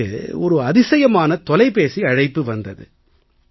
எனக்கு ஒரு அதிசயமான தொலைபேசி அழைப்பு வந்தது